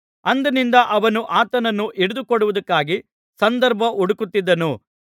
ಅಂದಿನಿಂದ ಅವನು ಆತನನ್ನು ಹಿಡಿದುಕೊಡುವುದಕ್ಕಾಗಿ ಸಂದರ್ಭ ಹುಡುಕುತ್ತಿದ್ದನು